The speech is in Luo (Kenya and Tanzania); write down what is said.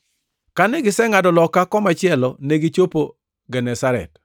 Kane gisengʼado loka komachielo, negichopo Genesaret.